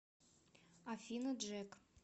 афина джек